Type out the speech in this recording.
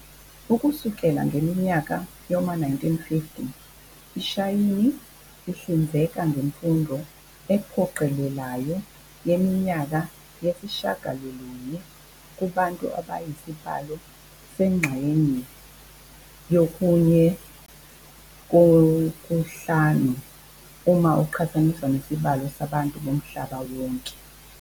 Ukusukela ngeminyaka yoma 1950, iShayini ihlinzeka ngemfundo ephoqelelayo yeminyaka eyisishagalolunye, kubantu abayisibalo sengxenye yokunye-kokuhlanu uma kuqhathaniswa nesibalo sabantu bomhlaba wonke.